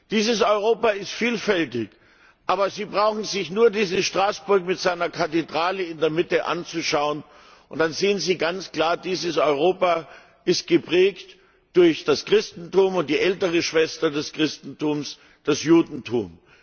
Dieses Europa ist vielfältig. Aber Sie brauchen sich nur dieses Straßburg mit seiner Kathedrale in seiner Mitte anzuschauen, dann sehen Sie ganz klar Dieses Europa ist geprägt durch das Christentum und die ältere Schwester des Christentums, das Judentum.